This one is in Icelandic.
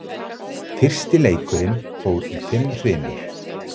Fyrsti leikurinn fór í fimm hrinur